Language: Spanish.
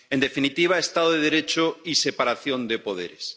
en definitiva, Estado de Derecho y separación de poderes.